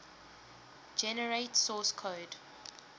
generate source code